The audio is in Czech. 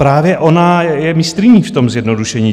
Právě ona je mistryní v tom zjednodušení.